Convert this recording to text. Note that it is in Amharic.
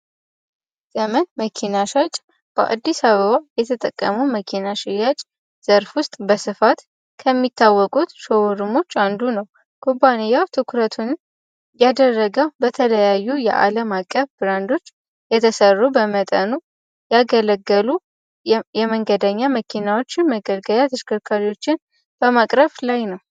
ዘመን መኪና ሻጭ በአዲስ አበባ የተጠቀሙ መኪና በስፋት ከሚታወቁት አንዱ ነው። ኩባንያው ትኩረቱን ያደረገው በተለያዩ የአለም አቀፍ ብራንዶች የተሰሩ በመጠኑ ያገለገሉ የመንገደኛ መኪናዎችን ፣መገልገያ ተሽከርካሪዎችን በማቅረብ ላይ ነው።